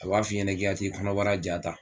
A b'a f'i ɲɛna k'i ka t'i kɔnɔbara ja ta